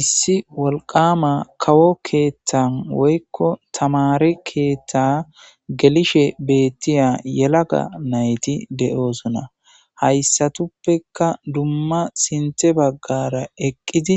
issi wolqama kawo keeththan woykko tamare keeththa gelishe beettiya yelaga nayti de7oosona hayssatuppeka dumma sinte baggara eqqidi